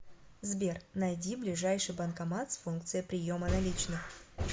сбер найди ближайший банкомат с функцией приема наличных